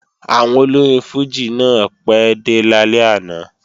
Àwọn olórin fùjì náà pẹ́ dé lálẹ́ àná